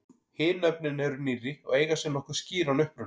Hin nöfnin eru nýrri og eiga sér nokkuð skýran uppruna.